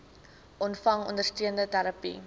ontvang ondersteunende terapie